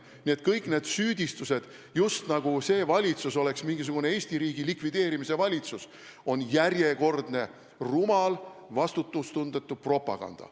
Nii et kõik süüdistused, nagu see valitsus oleks mingisugune Eesti riigi likvideerimise valitsus, on järjekordne rumal ja vastutustundetu propaganda.